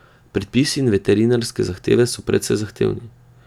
Predpisi in veterinarske zahteve so precej zahtevni.